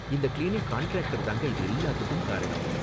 இந்த cleaning contractor தாங்க இது எல்லாத்துக்கும் காரணம்.